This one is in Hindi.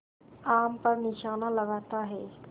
आम पर निशाना लगाता है